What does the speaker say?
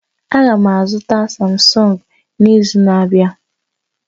Aga m azụta Samsung n'izu na-abịa